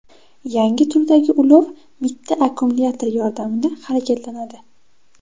Yangi turdagi ulov mitti akkumulyator yordamida harakatlanadi.